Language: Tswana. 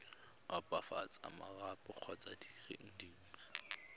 opafatsa marapo kgotsa dire dingwe